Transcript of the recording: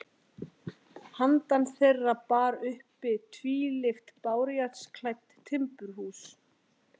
Handan þeirra bar uppi tvílyft bárujárnsklædd timburhús.